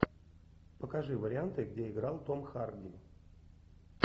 покажи варианты где играл том харди